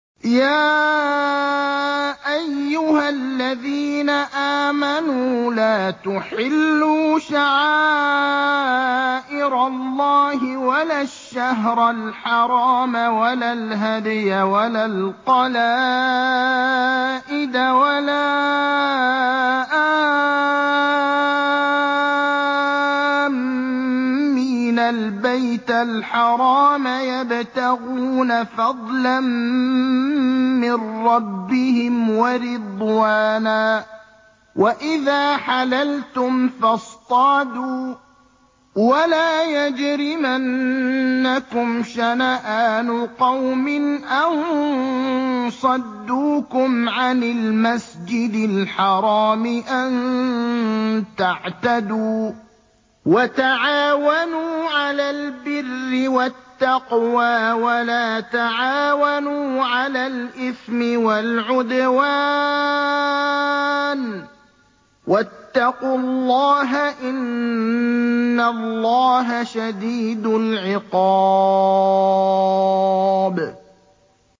يَا أَيُّهَا الَّذِينَ آمَنُوا لَا تُحِلُّوا شَعَائِرَ اللَّهِ وَلَا الشَّهْرَ الْحَرَامَ وَلَا الْهَدْيَ وَلَا الْقَلَائِدَ وَلَا آمِّينَ الْبَيْتَ الْحَرَامَ يَبْتَغُونَ فَضْلًا مِّن رَّبِّهِمْ وَرِضْوَانًا ۚ وَإِذَا حَلَلْتُمْ فَاصْطَادُوا ۚ وَلَا يَجْرِمَنَّكُمْ شَنَآنُ قَوْمٍ أَن صَدُّوكُمْ عَنِ الْمَسْجِدِ الْحَرَامِ أَن تَعْتَدُوا ۘ وَتَعَاوَنُوا عَلَى الْبِرِّ وَالتَّقْوَىٰ ۖ وَلَا تَعَاوَنُوا عَلَى الْإِثْمِ وَالْعُدْوَانِ ۚ وَاتَّقُوا اللَّهَ ۖ إِنَّ اللَّهَ شَدِيدُ الْعِقَابِ